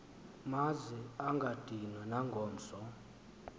maze angadinwa nangomso